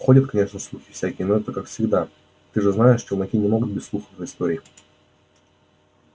ходят конечно слухи всякие но это как всегда ты же знаешь челноки не могут без слухов и историй